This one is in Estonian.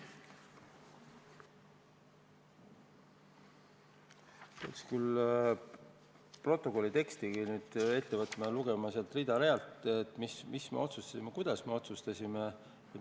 Peaks nüüd protokolli teksti ette võtma ja lugema sealt rida-realt, mis me otsustasime ja kuidas me otsustasime.